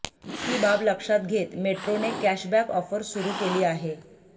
ही बाब लक्षात घेत मेट्रोने कॅशबॅक ऑफर सुरु केली आहे